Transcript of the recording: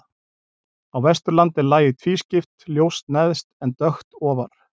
Á Vesturlandi er lagið tvískipt, ljóst neðst en dökkt ofar.